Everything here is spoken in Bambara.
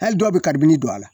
Hali dɔw bɛ karibini dɔ a la.